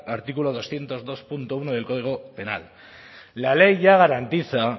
artículo doscientos dos punto uno del código penal la ley ya garantiza